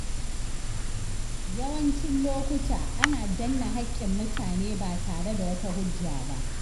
Yawancin lokuta, ana danne haƙƙin mutane ba tare da wata hujja ba.